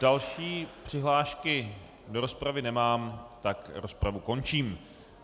Další přihlášky do rozpravy nemám, tak rozpravu končím.